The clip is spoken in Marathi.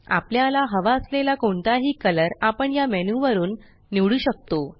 आपल्याला हवा असलेला कोणताही कलर आपण या मेन्यू वरुन निवडू शकतो